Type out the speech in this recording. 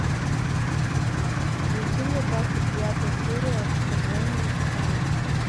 включи мне двадцать девятая серия вторжение титанов